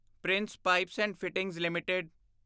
Prince pipes and fittings LTD